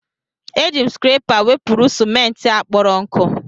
Eji m skrepa wepụrụ ciment a kporo nku.